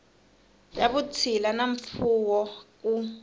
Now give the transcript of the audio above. ya vutshila na mfuwo ku